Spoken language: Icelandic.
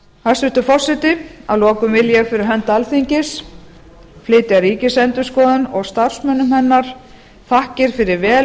hæstvirtur forseti að lokum vil ég fyrir hönd alþingis flytja ríkisendurskoðun og starfsmönnum hennar þakkir fyrir vel